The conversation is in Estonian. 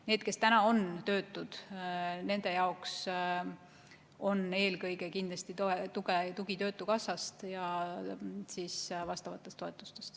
Nendel, kes praegu on töötud, on kindlasti tuge eelkõige töötukassast ja vastavatest toetustest.